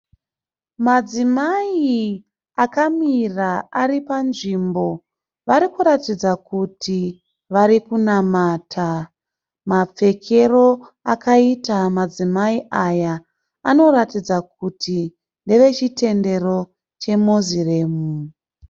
Madzimai akamira aripanzvimbo varikuratidza kuti varikunamata. Mapfekero akaita madzimai aya anoratidza kuti ndevechitendero cheMoslem.